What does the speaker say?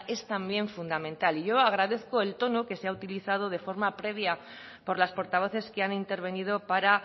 es también fundamental yo agradezco el tono que se ha utilizado de forma previa por las portavoces que han intervenido para